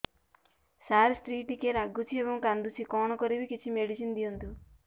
ସାର ସ୍ତ୍ରୀ ଟିକେ ରାଗୁଛି ଏବଂ କାନ୍ଦୁଛି କଣ କରିବି କିଛି ମେଡିସିନ ଦିଅନ୍ତୁ